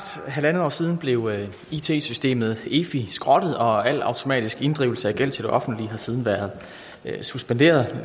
halvandet år siden blev it systemet efi skrottet og al automatisk inddrivelse af gæld til det offentlige har siden været suspenderet